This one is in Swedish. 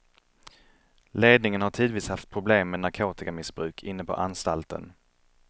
Ledningen har tidvis haft problem med narkotikamissbruk inne på anstalten.